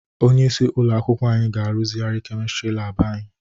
Onyeisi ụlọ akwụkwọ anyị ga-arụzigharị kemistrị lab anyị.